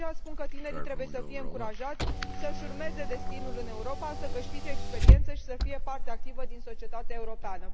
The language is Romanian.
De aceea spun că tinerii trebuie să fie încurajați să și urmeze destinul în Europa, să câștige experiență și să fie parte activă din societatea europeană.